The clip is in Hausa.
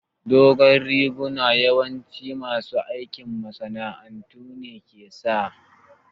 Dogon riguna yawanci masu aikin masana'antu ne ke sa